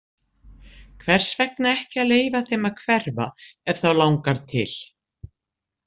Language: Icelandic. Hvers vegna ekki að leyfa þeim að hverfa ef þá langar til?